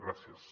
gràcies